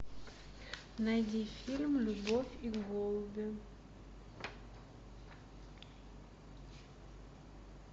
найди фильм любовь и голуби